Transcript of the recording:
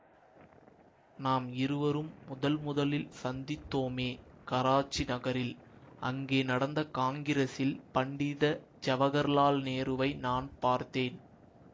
நாம் இருவரும் முதல் முதலில் சந்தித்தோமே கராச்சி நகரில் அங்கே நடந்த காங்கிரஸில் பண்டித ஜவஹர்லால் நேருவை நான் பார்த்தேன்